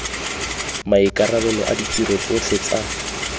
maikarabelo a ditiro tsotlhe tsa